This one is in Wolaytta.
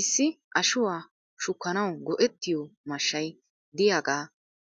Issi ashuwaa shukkanaw go'ettiyoo mashshay diyaagaa